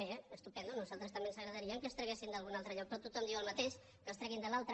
bé estupend a nosaltres també ens agradaria que es traguessin d’algun altre lloc però tothom diu el mateix que els treguin de l’altre